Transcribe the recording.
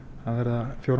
fjóra